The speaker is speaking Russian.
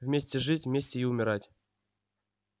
вместе жить вместе и умирать